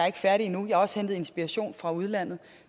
ikke færdig endnu jeg har også hentet inspiration fra udlandet